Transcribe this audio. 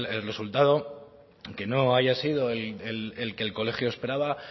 que el resultado que no haya sido el que el colegio esperaba